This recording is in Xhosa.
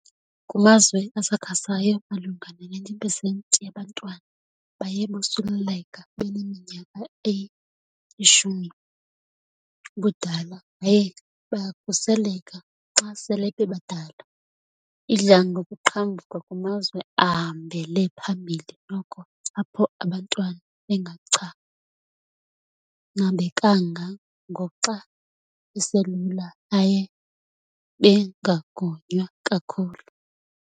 Kumazwe asakhasayo malunga ne-90 pesenti yabantwana baye bosuleleleka beneminyaka eyi-10 ubudala yaye bayakhuseleka xa sele bebadala. Idla ngokuqhambuka kumazwe ahambele phambili noko apho abantwana bengachanabekanga ngoxa beselula yaye bengagonywa kakhulu.